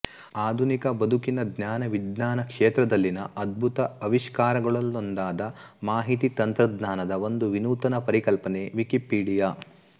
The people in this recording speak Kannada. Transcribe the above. ಆಧುನಿಕ ಬದುಕಿನ ಜ್ಞಾನವಿಜ್ಞಾನ ಕ್ಷೇತ್ರದಲ್ಲಿನ ಅದ್ಭುತ ಅವಿಷ್ಕಾರಗಳಲ್ಲೊಂದಾದ ಮಾಹಿತಿ ತಂತ್ರಜ್ಞಾನದ ಒಂದು ವಿನೂತನ ಪರಿಕಲ್ಪನೆ ವಿಕಿಪೀಡಿಯಾ